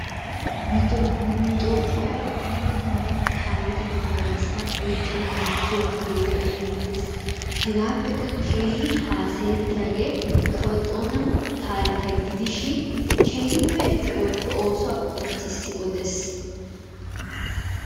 Nu Toophphiya dumma dumma taarikketa ba garssan oyqqada biittiyo gidiyogee erettees. Hegaappekka keehin haasayeettiyagee kawo Xoona taarikkiya gidishin keehippe eti ootto oosuwa qonccissi odees.